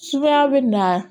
Sumaya bɛ na